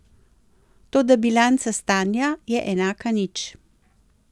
Toda bilanca stanja je enaka nič.